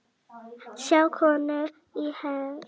Sjá könnunina í heild